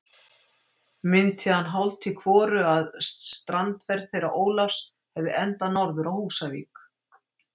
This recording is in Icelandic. Minnti hann hálft í hvoru, að strandferð þeirra Ólafs hefði endað norður á Húsavík.